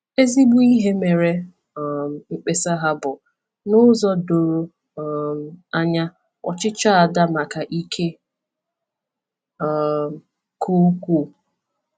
Ezigbo ihe mere um mkpesa ha bụ n’ụzọ doro um anya ọchịchọ Ada maka ike um ka ukwuu.